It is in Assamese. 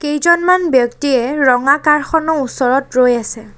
কেইজনমান ব্যক্তিয়ে ৰঙা কাৰ খনৰ ওচৰত ৰৈ আছে।